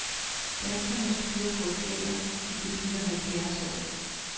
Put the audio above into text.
Danskernes kørekort gælder, til de fylder halvfjerds år.